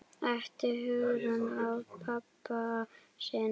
æpti Hugrún á pabba sinn.